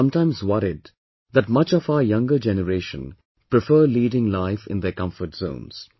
I am sometimes worried that much of our younger generation prefer leading life in their comfort zones